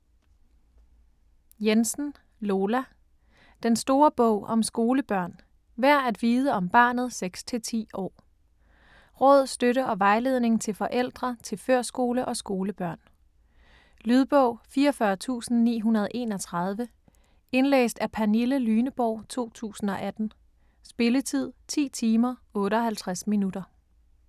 Jensen, Lola: Den store bog om skolebørn: værd at vide om barnet 6-10 år Råd, støtte og vejledning til forældre til førskole- og skolebørn. Lydbog 44931 Indlæst af Pernille Lyneborg, 2018. Spilletid: 10 timer, 58 minutter.